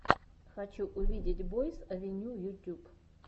хочу увидеть бойс авеню ютьюб